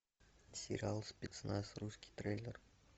сериал спецназ русский трейлер